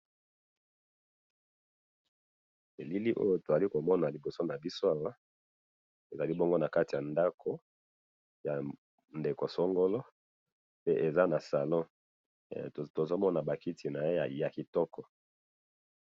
bilili oyo tozali komona liboso na biso ezali bonga na kati ya ndaku na ndeko Songolo mais eza na salon tozomona makiti naye ya kitoko